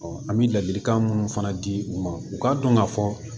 an bɛ ladilikan minnu fana di u ma u k'a dɔn ka fɔ